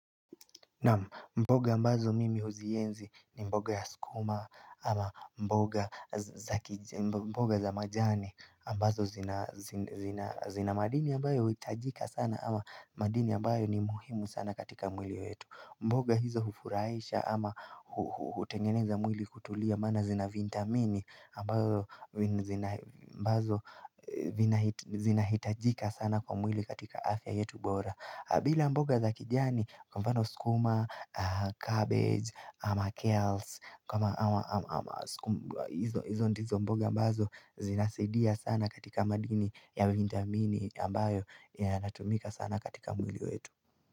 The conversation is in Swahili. Naam mboga ambazo mimi huzienzi ni mboga ya sukuma ama mboga za majani ambazo zina madini ambayo huhitajika sana ama madini ambayo ni muhimu sana katika mwili wetu mboga hizo hufurahisha ama hutengeneza mwili kutulia maana zina vitamini ambazo zinahitajika sana kwa mwili katika afya yetu bora bila mboga za kijani kwa mfano sukuma, cabbage, ama kales, izo ndizo mboga ambazo zinasidia sana katika madini ya vitamini ambayo inatumika sana katika mwili wetu.